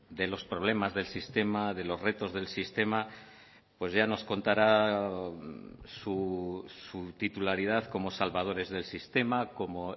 de los problemas del sistema de los retos del sistema pues ya nos contará su titularidad como salvadores del sistema como